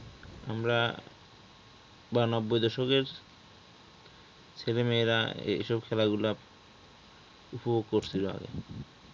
আমরা বা নব্বই দশকের ছেলেমেয়েরা এইসব খেলা গুলা উপভোগ করছিল আগে